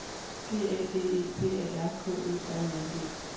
G A D E P A R K E R I N G